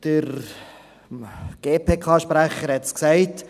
Der GPK-Sprecher hat es gesagt: